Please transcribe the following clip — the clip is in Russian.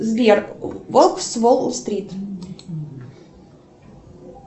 сбер волк с уолл стрит